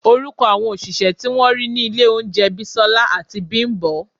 Orúkọ àwọn òṣìṣẹ́ tí wọ́n rí ní ilé oúnjẹ Bisola àti Bimbo